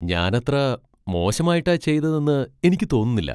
ഞാൻ അത്ര മോശമായിട്ടാ ചെയ്തതെന്ന് എനിക്ക് തോന്നുന്നില്ല .